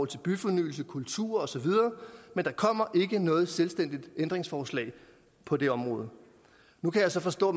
til byfornyelse kultur osv men der kommer ikke noget selvstændigt ændringsforslag på det område nu kan jeg så forstå